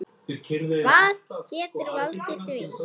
Hvað getur valdið því?